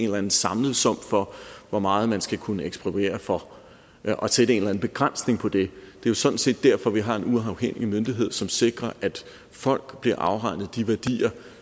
en eller anden samlet sum for hvor meget man skal kunne ekspropriere for og sætte en begrænsning for det det er sådan set derfor at vi har en uafhængig myndighed som sikrer at folk bliver afregnet for de værdier